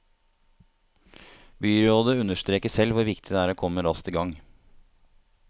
Byrådet understreker selv hvor viktig det er å komme raskt i gang.